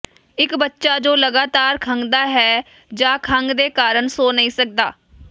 ਇਕ ਬੱਚਾ ਜੋ ਲਗਾਤਾਰ ਖੰਘਦਾ ਹੈ ਜਾਂ ਖੰਘ ਦੇ ਕਾਰਨ ਸੌਂ ਨਹੀਂ ਸਕਦਾ